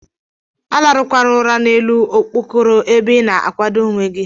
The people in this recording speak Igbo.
Alarụ kwana ụra na elu okpokoro ebe ina akwado onwee gi.